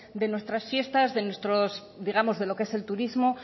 de nuestras fiestas digamos de lo que es el turismo